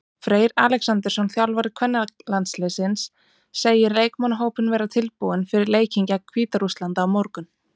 Freyr Alexandersson, þjálfari kvennalandsliðsins, segir leikmannahópinn vera tilbúinn fyrir leikinn gegn Hvíta-Rússlandi á morgun.